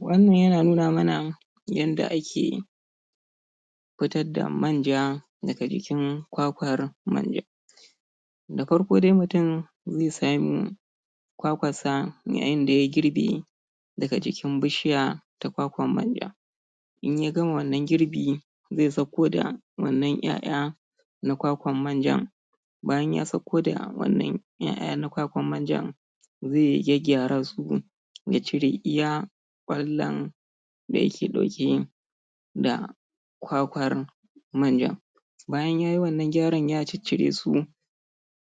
Wannan yana nuna mana yadda ake fitar da manja daga jikin kwakwar manja. Da farko dai mutum zai samu kwakwarsa, yayin da ya girbe daga jikin bishiya, ta kwakwar manja. In ya gama wannan girbi, zai sauko da wannan ƴaƴa na kwakwar manjan, bayan ya sauko da wannan ƴaƴa na kwakwar manjan, zai gyaggyara su ya cire iya ƙwallon da yake ɗauke da kwakwar manjan. Bayan ya yi wannan gyaran ya ciccire su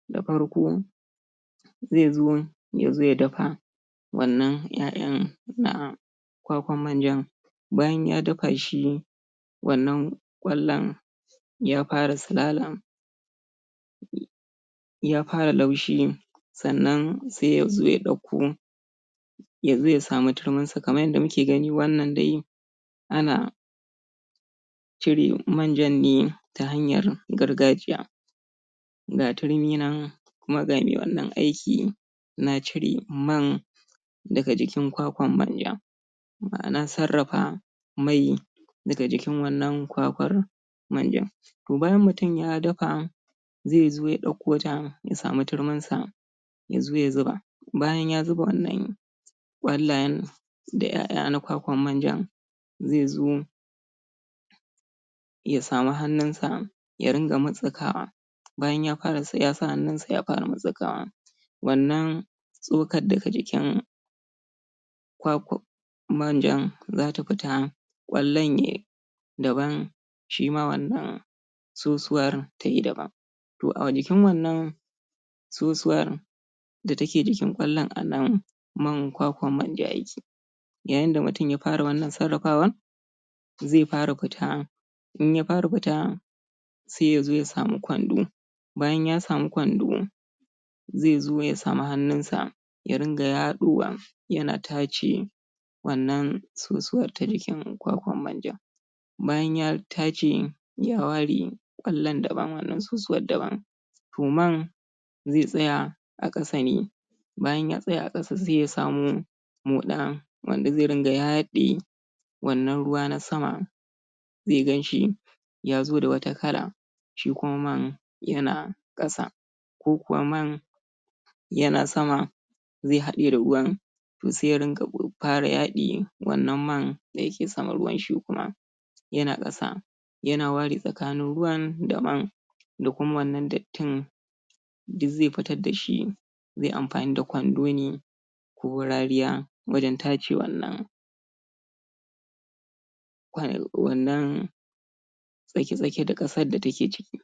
da farko, zai zo ya dafa wannan ƴaƴan na kwakwar manjan. Bayan ya dafa shi, wannan ƙwallon, ya fara silala, ya fara laushi, sannan sai ya zo ya ɗauko, ya zo ya samu turminsa, kamar yadda muke gani wannan dai ana cire manjan ne, ta hanyar gargajiya. ga turmin nan, kuma ga mai wannan aiki, na cire man daga jikin kwakwar manjan. Ma'ana sarrafa mai daga jikin wannan kwakwar manjan. To bayan mutum ya dafa, zai zo ya ɗauko ta, ya sami turminsa, ya zo ya zuba. Bayan ya zuba wannan, ƙwallayen da ƴaƴa na kwakwar manjan, zai zo, ya samu hannunsa ya riƙa mutstsukawa bayan ya sa hannunsa ya fara mutstsikawa, wannan, tsokar da ke jikin kwakwar manjan za ta fita ƙwallon ya yi daban shi ma wannan sosuwar To a jikin wannan, sosuwar da take jikin ƙwallon a nan man kwakwar manja yake. yayin da mutum ya fara wannan sarrafawar zai fara fita. In ya fara fita, sai ya zo ya sami kwando, bayan ya samu kwando, zai zo ya samu hannunsa, ya riƙa yaɗowa, yana tace wannan sosuwar ta jikin kwakwar manjan. Bayan ya tace, ya ware, ƙwallon daban, wannan sosuwar daban. To man, zai tsaya a ƙasa ne. Bayan ya tsaya a ƙasa sai ya samu, moɗa wanda zai rinƙa yaɗe wannan ruwa na sama. zai gan shi ya zo da wata kala shi kuma man, yana ƙasa, ko kuwa man, yana sama. zai haɗe da ruwan to sai ya fara yaɗe wannan man da yake saman ruwan, shi kuma yana ƙasa. Yana ware tsakanin ruwan daban. Da kuma wannan dattin, duk zai fitar da shi. Zai amfani da kwando ne, ko rariya, wajen tace wannan. wannan dake tsaki-tsakin, da ƙasar da take ciki.